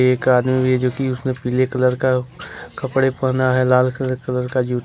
एक आदमी भी है जो कि उसने पीले कलर का कपड़े पहना है लाल कलर का--